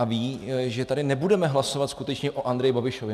A ví, že tady nebudeme hlasovat skutečně o Andreji Babišovi.